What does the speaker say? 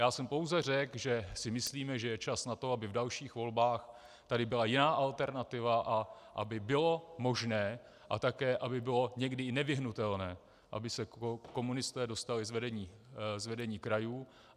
Já jsem pouze řekl, že si myslíme, že je čas na to, aby v dalších volbách tady byla jiná alternativa a aby bylo možné a také aby bylo někdy i nevyhnutelné, aby se komunisté dostali z vedení krajů.